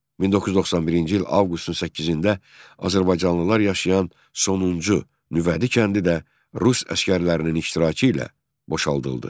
1991-ci il avqustun 8-də azərbaycanlılar yaşayan sonuncu Nüvədi kəndi də rus əsgərlərinin iştirakı ilə boşaldıldı.